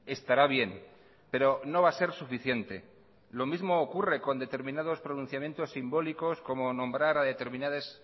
estará bien pero no va a ser suficiente lo mismo ocurre con determinados pronunciamientos simbólicos como nombrar a determinadas